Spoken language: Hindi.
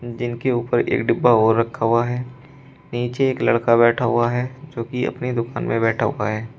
जिनके ऊपर एक डिब्बा और रखा हुआ है नीचे एक लड़का बैठा हुआ है जोकि अपनी दुकान में बैठा हुआ है।